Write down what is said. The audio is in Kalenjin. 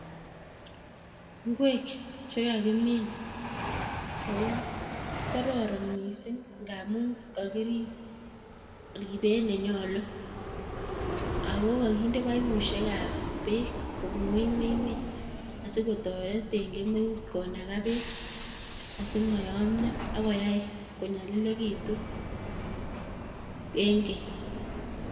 Ngwek chekakimin akokororon miising' ngaamun kakirib ribeet nenyolu ako kakinde paipusiek ap peek kobun ng'wuny asikkotoret ing' kemeut konaga peek asimayamyo akoyai konyalilikitu